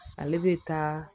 Ale bɛ taa